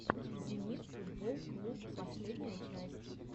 зенит футболл клуб последняя часть